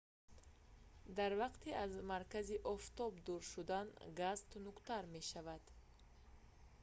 дар вақти аз маркази офтоб дур шудан газ тунуктар мешавад